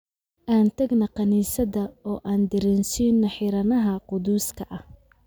Aan tagno kaniisadda oo aan daraseno xiranaha quduska ah.